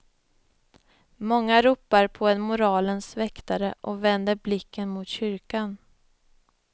Många ropar på en moralens väktare och vänder blicken mot kyrkan.